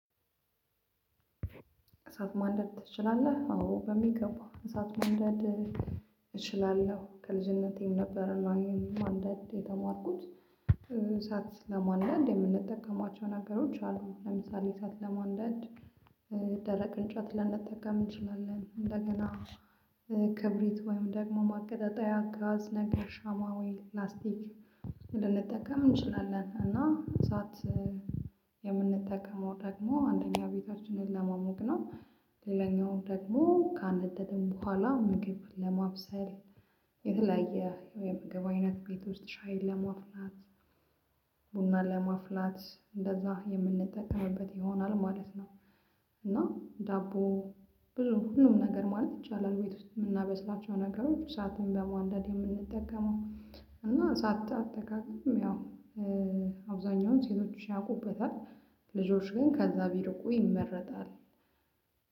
እሳት ማንደድ ትችላለህ? አዎ በሚገባው እሳት ማንደድ እችላለው ከልጅነቴም ነበር እኔም ማንዳድ የተማርኩት አሳት ለማንዳድ የምንጠቀማቸው ነገሮች አሉ ለምሳሌ አሳት ለማንደድ ደረቅ እንጨት ልንጠቀም እንችላለን እንደገና ክብሪት ወይም ደግሞ ማቀጣጠያ ጋዝ ነገር ሻማ ወይ ፕላስቲክ ልንጠቀም እንችላለን እና እሳት የምንጠቀመው ደግሞ አንደኛ ቤታችን ለማሞቅ ነው። ሌላኛው ደግሞ ከአንድ ካነደደን ቦኋላ ምግብ ለማብሰል የተለያየ የምግብ አይነት ቤት ውስጥ ሻይ ለማፍላት ቡና ለማፍላት እንደዛ የምንጠቀምበት ይሆናል ማለት ነው። እና ዳቦ ብዙ ሁሉም ነገር ማለት ይቻላል ቤት ውስጥ የምናበስላቸው ነገሮች አሳትን በማንደድ የምንጠቀመው እና ሳታጠቃቅም ያው አብዛኛውን ሴቶች ያውቁበታል ልጆች ግን ከዛ ቢሪቁ ይመረጣል።